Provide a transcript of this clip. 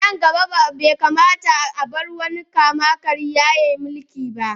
A nan gaba, bai kamata a bar wani kama-karya ya yi mulki ba.